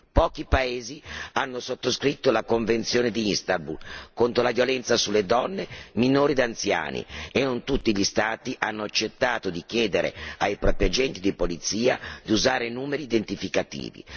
Pochi paesi hanno sottoscritto la Convenzione di Istanbul contro la violenza sulle donne, sui minori e sugli anziani e non tutti gli Stati hanno accettato di chiedere ai propri agenti di polizia di usare i numeri identificativi.